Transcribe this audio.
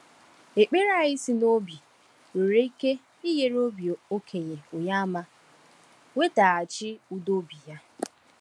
Ekpere anyị si n’obi nwere ike inyere onye okenye Onyeàmà nwetaghachi udo obi ya.